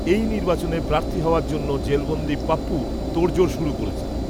এই নির্বাচনে প্রার্থী হওয়ার জন্য জেলবন্দি পাপ্পু তোড়জোড় শুরু করেছেন